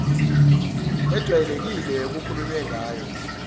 ejwayelekile okukhulunywe ngayo